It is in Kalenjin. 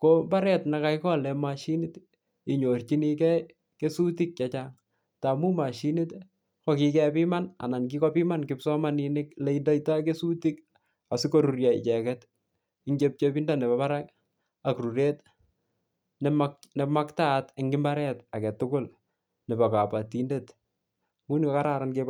ko mbaret nekakikolen moshinit inyorchinikee kesutik chechang tamun moshinit kokikebimani anan kikobiman kipsomaninik leindeito kesutik sikorurio icheket en chepchepindo nepo Barak ak ruret nemaktaat en mbaret agetugul nebo kabotindet Ngunon kokaran